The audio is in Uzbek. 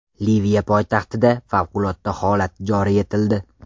Liviya poytaxtida favqulodda holat joriy etildi.